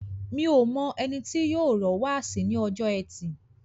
Mi o mọ ẹni tó yóò rọ́ wáàsí ní ọjọ́ ẹtì.